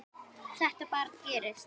Þetta bara gerist.